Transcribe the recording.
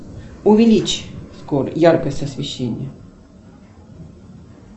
увеличь яркость освещения